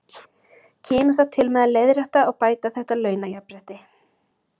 Kemur það til með að leiðrétta og bæta þetta launajafnrétti?